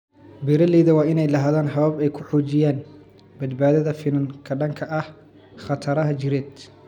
Beeralayda waa inay lahaadaan habab ay ku xoojiyaan badbaadada finan ka dhanka ah khataraha jireed.